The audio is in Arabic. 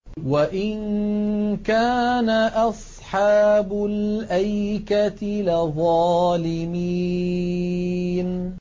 وَإِن كَانَ أَصْحَابُ الْأَيْكَةِ لَظَالِمِينَ